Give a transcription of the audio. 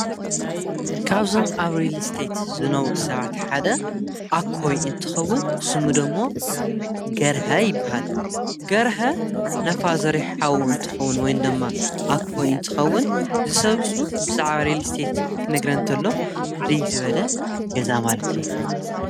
ካብዞም ኣብ ሪሊስተት ዝነውሩ ሰባቲ ሓደ ኣኮይ እንትኸውን ብስሙዶ እሞ ገርሀ ይበሃል ገርሀ ናፋዘረይ ሓዉ እንትኸውን ወይ ንዶእማ ኣክወይ እንትኸውን ዝሰብሱ ብዛዕባ ሪሊስተት ክነግረኒ እንተሎ ፍሪግ ዝበለ ገዛ ማለት እዩ።